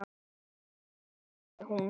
Mér líður vel, sagði hún.